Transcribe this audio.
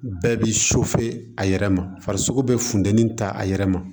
Bɛɛ bi a yɛrɛ ma farisogo be funteni ta a yɛrɛ ma